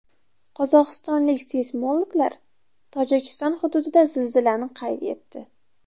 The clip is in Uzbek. Qozog‘istonlik seysmologlar Tojikiston hududida zilzilani qayd etdi.